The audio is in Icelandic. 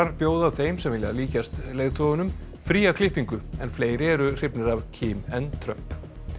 bjóða þeim sem vilja líkjast leiðtogunum fría klippingu en fleiri eru hrifnir af en Trump